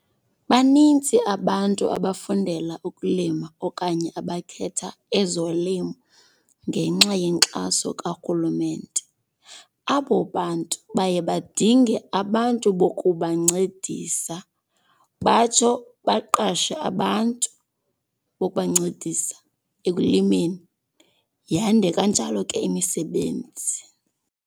Banintsi abantu abafundela ukulima okanye abakhetha ezolimo ngenxa yenkxaso karhulumente. Abo bantu baye badinge abantu bokubancedisa batsho baqashe abantu bokubancedisa ekulimeni yande kanjalo ke imisebenzi.